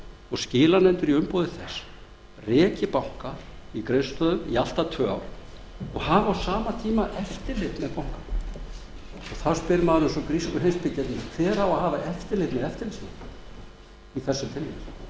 og skilanefndir í umboði þess reki banka í greiðslustöðvun í allt að tvö ár og hafi á sama tíma eftirlit með bankanum þá spyr maður eins og grísku heimspekingarnir hver á að hafa eftirlit með eftirlitsmönnunum í